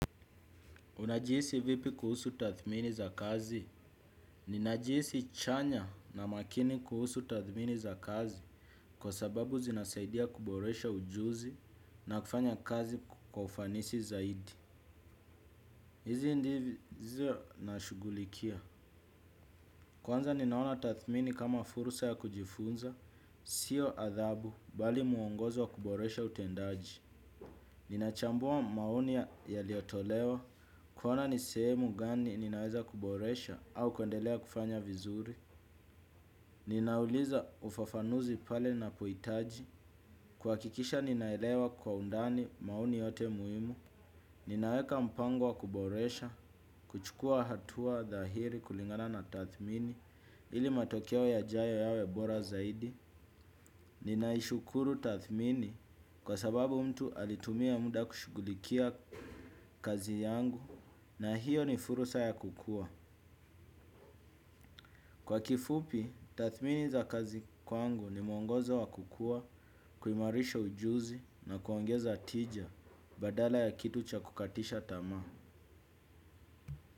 Unajihisi vipi kuhusu tathmini za kazi? Ninajihisi chanya na makini kuhusu tathmini za kazi kwa sababu zinasaidia kuboresha ujuzi na kufanya kazi kwa ufanisi zaidi. Hizi ndizo na shughulikia. Kwanza ninaona tathmini kama fursa ya kujifunza, sio adhabu bali mwongozo wa kuboresha utendaji. Ninachambua maoni yaliyotolewa kuona ni sehemu gani ninaweza kuboresha au kuendelea kufanya vizuri. Ninauliza ufafanuzi pale ninapohitaji kuhakikisha ninaelewa kwa undani maoni yote muhimu. Ninaeka mpango wa kuboresha, kuchukua hatua dhahiri kulingana na tathmini ili matokeo ya jayo yawe bora zaidi. Ninaishukuru tathmini kwa sababu mtu alitumia muda kushughulikia kazi yangu na hiyo ni fursa ya kukua. Kwa kifupi, tathmini za kazi kwangu ni mwongozo wa kukua, kuimarisha ujuzi na kuongeza tija badala ya kitu cha kukatisha tamaa.